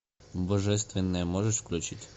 божественное можешь включить